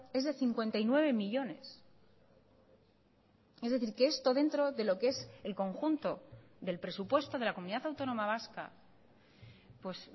es de cincuenta y nueve millónes es decir que esto dentro de lo que es el conjunto del presupuesto de la comunidad autónoma vasca pues